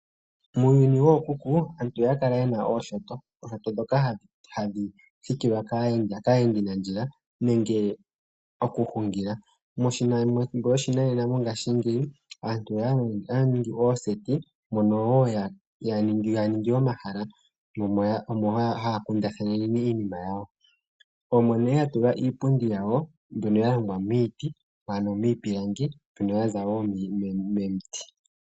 Muuyuni wookuku aantu ohaya kala yena ooshoto dhoka hadhi thikilwa kaayendinandjila nenge okuhungila. Methimbo loshinanena longashingeyi aantu ohaya ningi ooseti mono wo ya ningila omahala omo haya kundathana iinima yawo. Omo nee ya tula iipundi mbyono ya longwa miiti mbyono ya longwa miipilangi ya za wo miiti.